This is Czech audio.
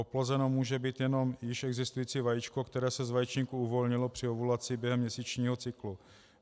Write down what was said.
Oplozeno může být jenom již existující vajíčko, které se z vaječníku uvolnilo při ovulaci během měsíčního cyklu.